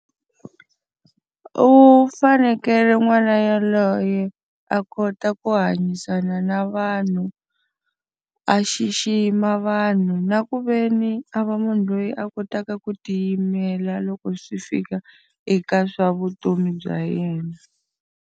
U fanekele n'wana yaloye a kota ku hanyisana na vanhu, a xixima vanhu, na ku ve ni a va munhu loyi a kotaka ku tiyimela loko swi fika eka swa vutomi bya yena.